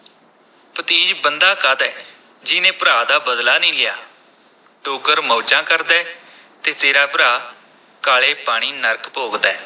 ਭਤੀਜ ਬੰਦਾ ਕਾਹਦਾ ਹੈ, ਜਿਹਨੇ ਭਰਾ ਦਾ ਬਦਲਾ ਨ੍ਹੀਂ ਲਿਆ, ਡੋਗਰ ਮੌਜਾਂ ਕਰਦਾ ਹੈ ਤੇ ਤੇਰਾ ਭਰਾ ਕਾਲੇ ਪਾਣੀ ਨਰਕ ਭੋਗਦਾ ਹੈ।